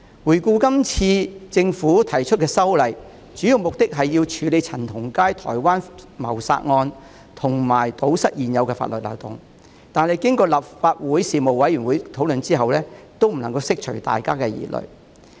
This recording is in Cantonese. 回顧今次政府提出的法例修訂，主要目的是處理陳同佳台灣謀殺案，以及堵塞現有法律漏洞，但經過立法會事務委員會討論後，也未能釋除大家的疑慮。